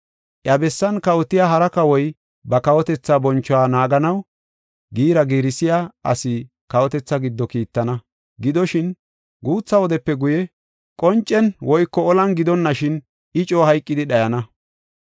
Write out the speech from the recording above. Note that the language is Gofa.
“Iya bessan kawotiya hara kawoy ba kawotetha bonchuwa naaganaw giira giirsiya ase kawotethaa giddo kiittana. Gidoshin, guutha wodepe guye, qoncen woyko olan gidonashin, I coo hayqidi dhayana.